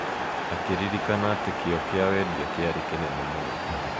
akĩririkana atĩ kĩyo kĩa wendia kĩarĩ kĩnene mũno.